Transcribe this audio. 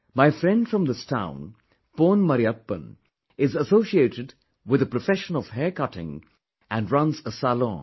My friend from this town Pon Marriyappan is associated with the profession of hair cutting and runs a salon